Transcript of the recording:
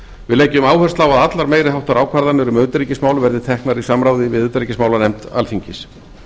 við leggjum áherslu á að allar meiri háttar ákvarðanir um utanríkismál verði teknar í samráði við utanríkismálanefnd alþingis